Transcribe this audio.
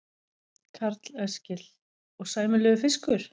Karl Eskil: Og sæmilegur fiskur?